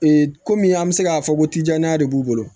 kɔmi an bɛ se k'a fɔ ko tijan de b'u bolo